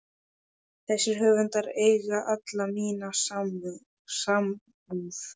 Þessir höfundar eiga alla mína samúð.